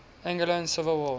angolan civil war